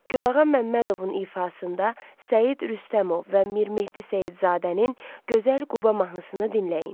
Gülağa Məmmədovun ifasında Səid Rüstəmov və Mir Mehdi Seyidzadənin Gözəl Quba mahnısını dinləyin.